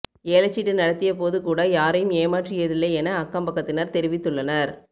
ஏலச்சீட்டு நடத்திய போது கூட யாரையும் ஏமாற்றியதில்லை என அக்கம்பக்கத்தினர் தெரிவித்துள்ளனர்